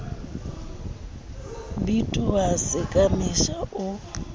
bitoha se ka mesha o